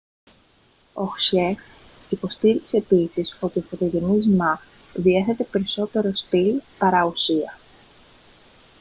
ο χσιεχ υποστήριξε επίσης ότι ο φωτογενής μα διάθετε περισσότερο στιλ παρά ουσία